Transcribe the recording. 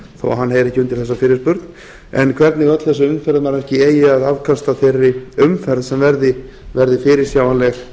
að hann heyri ekki undir þessa fyrirspurn en hvernig öll þessi umferðarmannvirki eigi að afkasta þeirri umferð sem verði fyrirsjáanleg